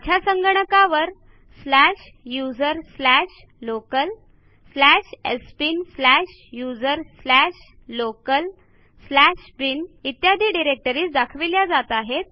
माझ्या संगणकावर या डिरेक्टरीज दाखविल्या जात आहेत